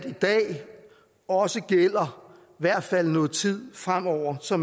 i dag også gælder i hvert fald nogen tid fremover så